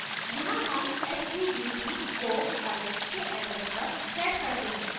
यहाँ हम subt को arith के address पर set करते हैं